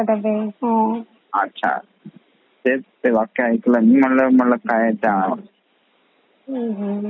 अच्छा अच्छा तेच ते वाक्य ऐकलं म्हण्टलं